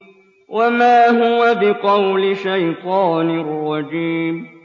وَمَا هُوَ بِقَوْلِ شَيْطَانٍ رَّجِيمٍ